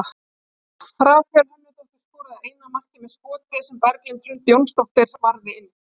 Rakel Hönnudóttir skoraði eina markið með skoti sem Berglind Hrund Jónasdóttir varði inn.